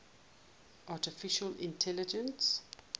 artificial intelligence